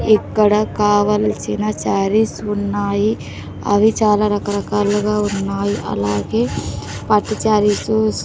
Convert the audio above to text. ఇక్కడ కావలసిన సారీస్ ఉన్నాయి అవి చాలా రకరకాలుగా ఉన్నాయి. అలాగే పట్టు సారీస్ --